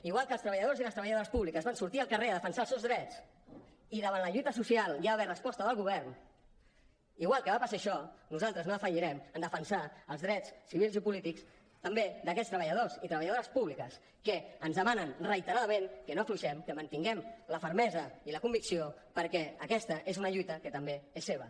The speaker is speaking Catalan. igual que els treballadors i les treballadores públiques van sortir al carrer a defensar els seus drets i davant la lluita social hi ha d’haver resposta del govern igual que va passar això nosaltres no defallirem en defensar els drets civils i polítics també d’aquests treballadors i treballadores públiques que ens demanen reiteradament que no afluixem que mantinguem la fermesa i la convicció perquè aquesta és una lluita que també és seva